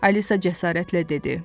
Alisa cəsarətlə dedi: